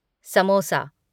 samosa